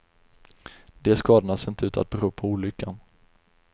De skadorna ser inte ut att bero på olyckan.